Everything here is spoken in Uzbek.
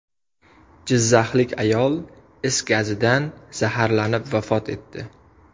Jizzaxlik ayol is gazidan zaharlanib vafot etdi.